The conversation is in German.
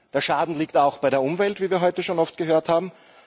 Der Schaden liegt auch bei der Umwelt, wie wir heute schon oft gehört haben.